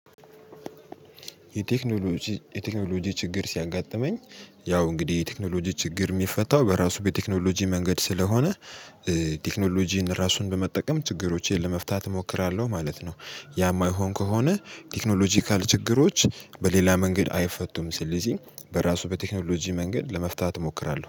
የቴክኖሎጂ የቴክኖሎጂ ችግር ሲያጋጥመኝ ያው እንግዲህ የቴክኖሎጂ ችግር የሚፈታው በራሱ በቴክኖሎጂ መንገድ ስለሆነ ቴክኖሎጂን ራሱን በመጠቀም ችግሮቼን ለመፍታት እሞክራለሁ ማለት ነው። ያ የማይሆን ከሆነ ቴክኖሎጂካል ችግሮች በሌላ መንገድ አይፈቱም ስለዚህ በራሱ በቴክኖሎጂ መንገድ ለመፍታት እሞክራለሁ